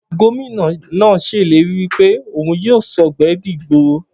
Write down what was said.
Gómìnà náà se ìlérí wípé òhun yíò sògbé di ìgboro